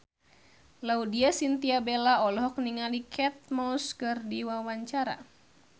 Laudya Chintya Bella olohok ningali Kate Moss keur diwawancara